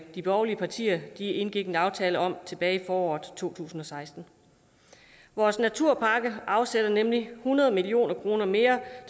de borgerlige partier indgik en aftale om tilbage i foråret to tusind og seksten i vores naturpakke afsættes nemlig hundrede million kroner mere